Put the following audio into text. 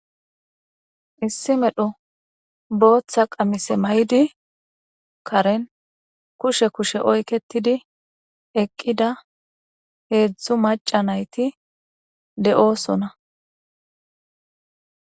issi medho booththa qamise may7di karen kushe kushe oyketidi eqqida heedzdzu maca nayti de7oosona